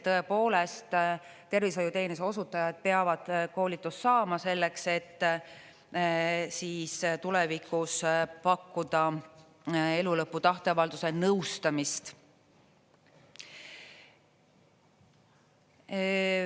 Tõepoolest, tervishoiuteenuse osutajad peavad koolitust saama selleks, et tulevikus pakkuda elulõpu tahteavalduse nõustamist.